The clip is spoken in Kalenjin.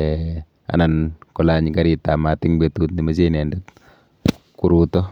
um anan kolany karitap mat eng betut nemeche inendet koruto.